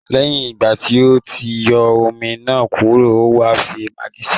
Lẹ́yìn ìgbà tí o ti yọ́ omi náà kúrò, ó wà fi maggi sí